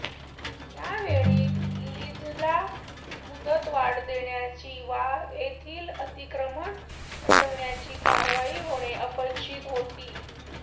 त्यावेळी लीजला मुदतवाढ देण्याची वा येथील अतिक्रमण हटविण्याची कारवाई होणे अपेक्षित होती